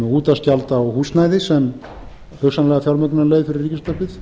útvarpsgjald á húsnæði sem hugsanlega fjármögnunarleið fyrir ríkisútvarpið